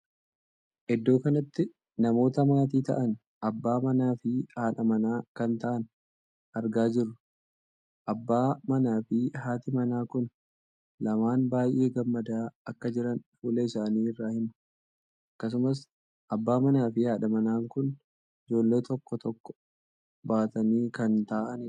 Iddoo kanatti namoota maatii taa'an abbaa manaa fi haadha mana kan taa'an argaa jirru. abbaa manaa fi haati manaa kun lamaan baay'ee gammadaa akka jiran fuula isaanii irra hima. akkasumas abbaa manaa fi haadhi manaa kun ijoollee tokko tokko baatanii kan taa'aniidha.